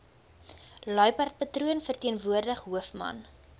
luiperdpatroon verteenwoordig hoofman